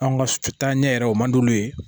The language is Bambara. An ka taa ɲɛ yɛrɛ o man d'olu ye